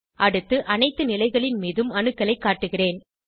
அடுத்து அனைத்து நிலைகளின் மீதும் அணுக்களை காட்டுகிறேன்